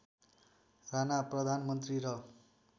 राणा प्रधानमन्त्री र